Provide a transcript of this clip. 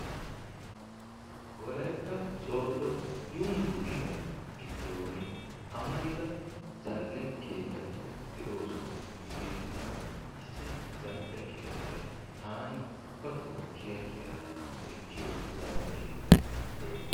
Wolaytta soodo yunburushiyaa giddon amarida zal"e keettati de"oosona. Hegeetunkka issi zal"e keettay taani ubbatoo kiya kiyada ekkiyooo zal"e keettay de'ees.